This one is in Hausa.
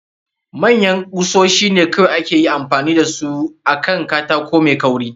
Manyan kusoshi ne kawai ake ayi amfani da su akan katako mai kauri.